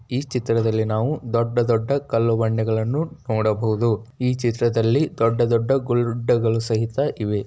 ಈ ಚಿತ್ರದಲ್ಲಿ ನಾವು ದೊಡ್ಡ ದೊಡ್ಡ ಕಲ್ಲು ಬಂಡೆಗಳನ್ನು ನೋಡಬಹುದು ಈ ಚಿತ್ರದಲ್ಲಿ ದೊಡ್ಡ ದೊಡ್ಡ ಗುಡ್ಡಗಳು ಸಹಿತ ಇವೆ.